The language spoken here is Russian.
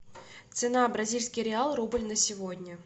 цена бразильский реал рубль на сегодня